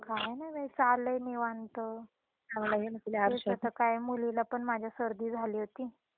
काय नाही बाई चाललंय निवांत त्या दिवशी तर काय मुलीला पण माझ्या सर्दी झाली होती.